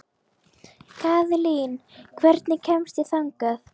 Kaðlín, hvernig kemst ég þangað?